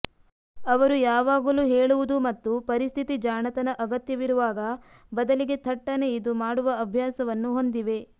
ಅವರು ಯಾವಾಗಲೂ ಹೇಳುವುದು ಮತ್ತು ಪರಿಸ್ಥಿತಿ ಜಾಣತನ ಅಗತ್ಯವಿರುವಾಗ ಬದಲಿಗೆ ಥಟ್ಟನೆ ಇದು ಮಾಡುವ ಅಭ್ಯಾಸವನ್ನು ಹೊಂದಿವೆ